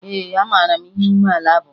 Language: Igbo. Ee, amara m ihe umeala bụ